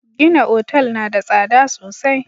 Gina otal na da tsada sosai.